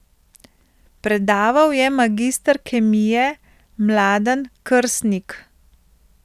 Predaval je magister kemije Mladen Krsnik.